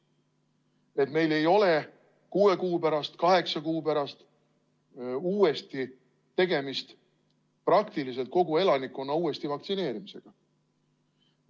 Et meil ei ole kuue kuu pärast või kaheksa kuu pärast uuesti tegemist praktiliselt kogu elanikkonna uuesti vaktsineerimisega.